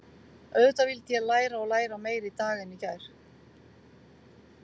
Auðvitað vildi ég læra og læra, meira í dag en í gær.